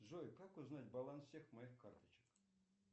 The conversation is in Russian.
джой как узнать баланс всех моих карточек